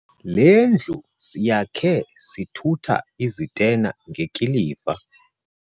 Le ndlu siyakhe sithutha izitena ngekiliva.